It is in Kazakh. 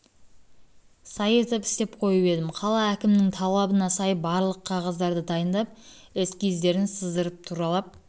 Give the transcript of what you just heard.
сай етіп істеп қойып едім қала әкімінің талабына сай барлық қағаздарды дайындап эскиздерін сыздырып туралап